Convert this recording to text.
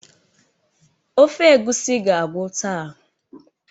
Ofe egusi ga-agwụ taa.